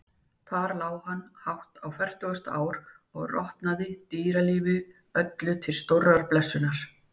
Þar lá hann hátt á fertugasta ár og rotnaði, dýralífi öllu til stórrar blessunar.